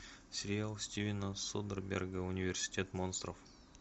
сериал стивена содерберга университет монстров